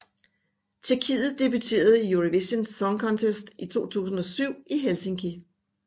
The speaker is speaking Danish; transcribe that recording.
Tjekkiet debuterede i Eurovision Song Contest i 2007 i Helsinki